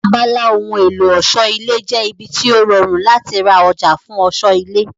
Abala ohun èlò ọ̀ṣọ́ ilé jẹ́ ibi tó rọrùn láti ra ọjà fún ọ̀ṣọ́ ilé